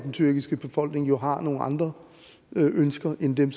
den tyrkiske befolkning jo har nogle andre ønsker end dem